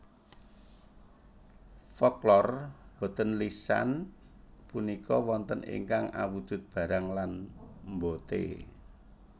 Folklor boten lisan punika wonten ingkang awujud barang lan mbote